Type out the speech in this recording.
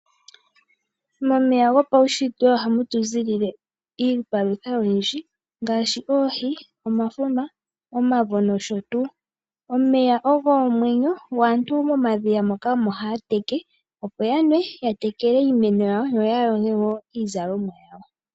Momeya gopawushitwe ohamutuziilile iipalutha oyindji ngaashi: oohi, omafuma, omavo nosho tuu. Omeya ogo omwenyo yo aantu momadhiya moka omo haateke opo yanwe yatekele iimeno yawo yo yayoge woo iizalomwa yawo.